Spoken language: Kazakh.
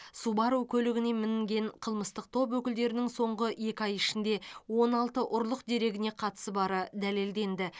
субару көлігіне мінген қылмыстық топ өкілдерінің соңғы екі ай ішінде он алты ұрлық дерегіне қатысы бары дәлелденді